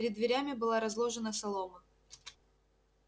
перед дверями была разложена солома